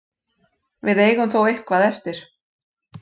Við eigum þó eitthvað eftir.